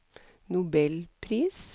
nobelpris